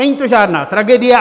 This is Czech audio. Není to žádná tragédie.